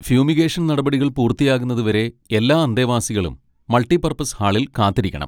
Fumigation നടപടികൾ പൂർത്തിയാകുന്നതുവരെ എല്ലാ അന്തേവാസികളും മൾട്ടിപർപ്പസ് ഹാളിൽ കാത്തിരിക്കണം.